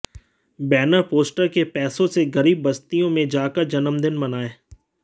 banner poster के पैसों से गरीब बस्तियों में जाकर जन्मदिन मनाएं